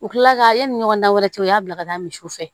U kilala yanni ɲɔgɔnna wɛrɛ cɛ u y'a bila ka taa misiw fɛ